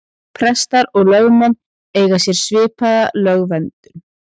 Prestar og lögmenn eiga sér svipaða lögverndun.